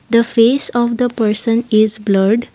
the face of the person is blurred.